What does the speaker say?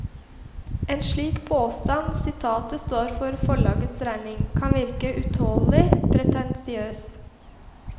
En slik påstand, sitatet står for forlagets regning, kan virke utålelig pretensiøs.